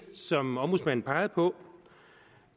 som ombudsmanden pegede på